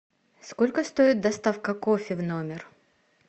сколько стоит доставка кофе в номер